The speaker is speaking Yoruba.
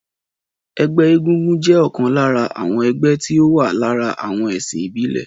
Ẹgbẹ́ egúngún jẹ ọ̀kan lára àwọn ẹgbẹ́ tí ó wà lára àwọn ẹ̀sìn ìbílè.